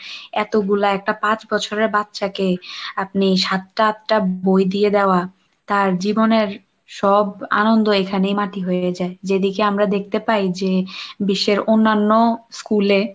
এতগুলা একটা পাঁচ বছরের বাচ্চাকে আপনি সাতটা আটটা বই দিয়ে দেওয়া, তার জীবনের সব আনন্দ এখানেই মাটি হয়ে যায়, যেদিকে আমরা দেখতে পাই যে বিশ্বের অন্যান্য school এ,